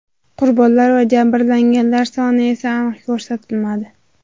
Qurbonlar va jabrlanganlar soni esa aniq ko‘rsatilmadi.